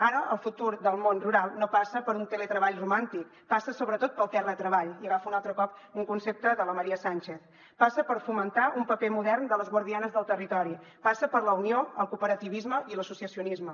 ara el futur del món rural no passa per un teletreball romàntic passa sobretot pel terratreball i agafo un altre cop un concepte de la maría sánchez passa per fo·mentar un paper modern de les guardianes del territori passa per la unió el coope·rativisme i l’associacionisme